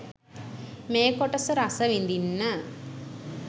මේ කොටස රසවිඳින්න